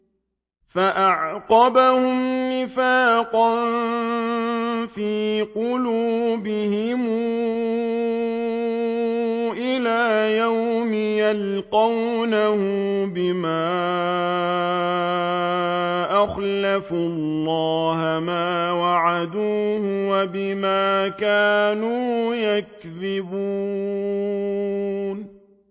فَأَعْقَبَهُمْ نِفَاقًا فِي قُلُوبِهِمْ إِلَىٰ يَوْمِ يَلْقَوْنَهُ بِمَا أَخْلَفُوا اللَّهَ مَا وَعَدُوهُ وَبِمَا كَانُوا يَكْذِبُونَ